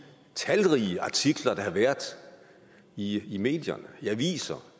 talrige artikler der har været i i medierne i aviserne